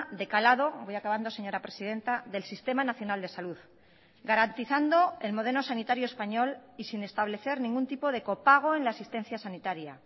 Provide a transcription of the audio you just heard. de calado voy acabando señora presidenta del sistema nacional de salud garantizando el modelo sanitario español y sin establecer ningún tipo de copago en la asistencia sanitaria